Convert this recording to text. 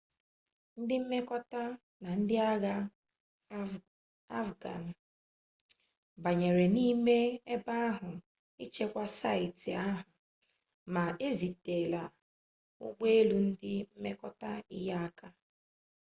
ndị mmekọta na ndị agha afghan banyere n'ime ebe ahụ ichekwa saịtị ahụ ma ezitela ụgbọ elu ndị mmekọta inyere aka